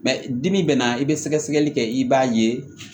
Mɛ dibi bɛ na i bɛ sɛgɛsɛgɛli kɛ i b'a ye